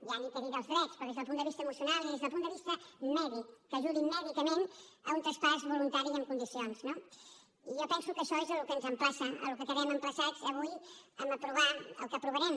ja no cal dir dels drets però des del punt de vista emocional i des del punt de vista mèdic que ajudi mèdicament a un traspàs voluntari i en condicions no i jo penso que això és al que ens emplaça al que quedem emplaçats avui en aprovar el que aprovarem